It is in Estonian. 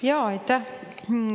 Aitäh!